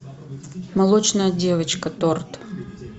молочная девочка торт